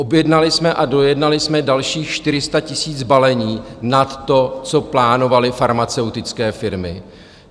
"Objednali jsme a dojednali jsme dalších 400 000 balení nad to, co plánovaly farmaceutické firmy."